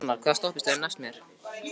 Hrannar, hvaða stoppistöð er næst mér?